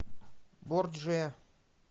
борджиа